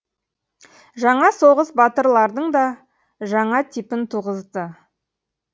жаңа соғыс батырлардың да жаңа типін туғызды